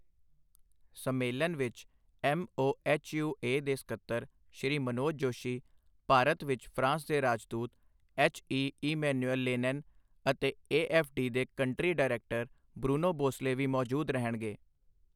ਸੰਮੇਲਨ ਵਿੱਚ ਐੱਮਓਐੱਚਯੂਏ ਦੇ ਸਕੱਤਰ ਸ਼੍ਰੀ ਮਨੋਜ ਜੋਸ਼ੀ, ਭਾਰਤ ਵਿੱਚ ਫ੍ਰਾਂਸ ਦੇ ਰਾਜਦੂਤ ਐੱਚ. ਈ. ਇਮੈਨੁਏਲ ਲੇਨੈਨ ਅਤੇ ਏਐੱਫਡੀ ਦੇ ਕੰਟ੍ਰੀ ਡਾਇਰੈਕਟਰ ਬ੍ਰੁਨੋ ਬੋਸਲੇ ਵੀ ਮੌਜੂਦ ਰਹਿਣਗੇ।